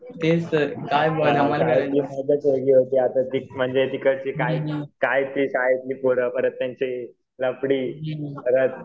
आता म्हणजे तिकडची काय, काय ते शाळेतली पोरं परत त्यांचे लफडी परत